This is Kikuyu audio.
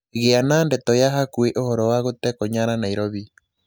gīa na ndeto ya hakuhī ūhoro wa gūtekwo nyara Nairobi